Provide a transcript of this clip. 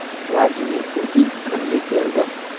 Vladimir Putin Qrimga keldi.